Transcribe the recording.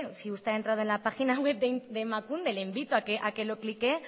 si usted ha entrado en la página web de emakunde le invito a que lo cliquee